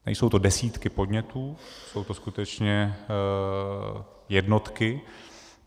Nejsou to desítky podnětů, jsou to skutečně jednotky.